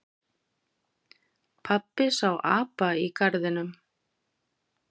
Pabbi sá apa í garðinum.